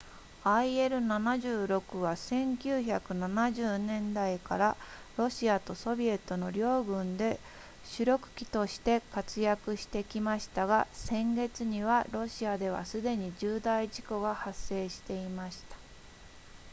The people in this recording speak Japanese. il-76 は1970年代からロシアとソビエトの両軍で主力機として活躍してきましたが先月にはロシアではすでに重大事故が発生していました